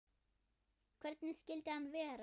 Hvernig skyldi hann vera?